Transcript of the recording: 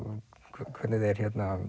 hvernig þeir